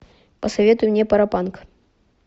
посоветуй мне паропанк